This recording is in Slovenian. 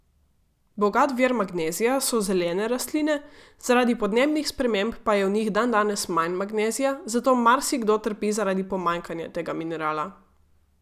Bogat vir magnezija so zelene rastline, zaradi podnebnih sprememb pa je v njih dandanes manj magnezija, zato marsikdo trpi zaradi pomanjkanja tega minerala.